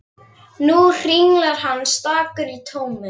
Nú hringlar hann stakur í tómi.